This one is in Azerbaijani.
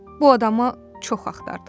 Bu adamı çox axtardıq.